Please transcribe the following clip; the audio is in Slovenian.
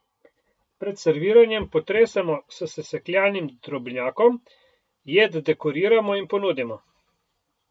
Pred serviranjem potresemo s sesekljanim drobnjakom, jed dekoriramo in ponudimo.